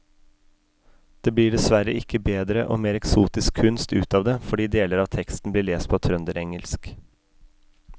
Det blir dessverre ikke bedre og mer eksotisk kunst ut av det fordi deler av teksten blir lest på trønderengelsk.